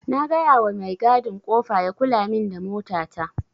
Na gayawa mai gadin kofa ya kulamin da mota ta.